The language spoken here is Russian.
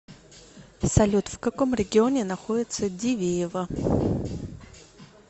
салют в каком регионе находится дивеево